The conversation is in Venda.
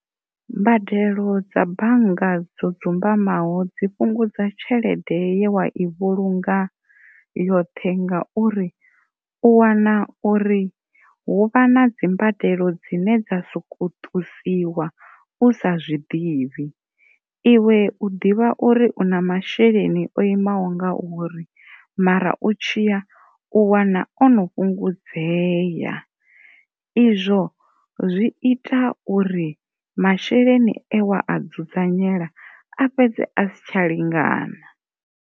Mbadelo dza bannga dzo dzumbamaho zwi fhungudza tshelede ye wa i vhulunga yoṱhe ngauri u wana uri hu vha na dzi mbadelo dzine dza soko ṱusiwa u sa zwi ḓivhi iwe u na masheleni o imaho nga uri mara u tshi ya u wana o no fhungudeaya izwo zwi ita uri masheleni we a a dzudzanyela a fhedze a si tsha lingana.